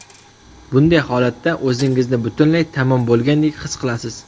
Bunday holatda o‘zingizni butunlay tamom bo‘lgandek his qilasiz.